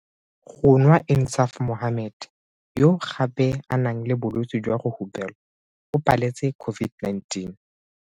Go nwa Insaaf Mohammed, yo gape a nang le bolwetse jwa go hupelwa, o paletse COVID-19.